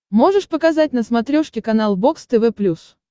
можешь показать на смотрешке канал бокс тв плюс